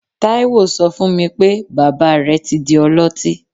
Taiye so fún mi pé, bàbá rẹ̀ ti di ọlọtí.